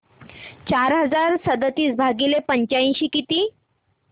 चार हजार सदतीस भागिले पंच्याऐंशी किती